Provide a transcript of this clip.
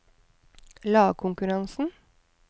lagkonkurransen